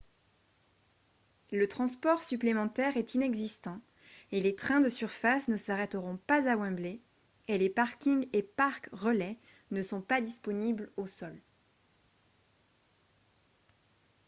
le transport supplémentaire est inexistant et les trains de surface ne s'arrêteront pas à wembley et les parkings et parcs relais ne sont pas disponibles au sol